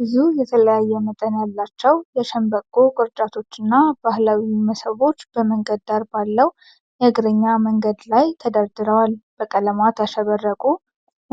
ብዙ የተለያየ መጠን ያላቸው የሸምበቆ ቅርጫቶችና ባህላዊ መሶቦች በመንገድ ዳር ባለው የእግረኛ መንገድ ላይ ተደርድረዏል። በቀለማት ያሸበረቁት